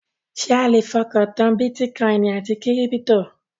Ṣé a le fọkàn tán bítíkọìnì àti kírípítò?